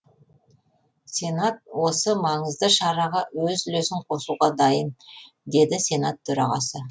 сенат осы маңызды шараға өз үлесін қосуға дайын деді сенат төрағасы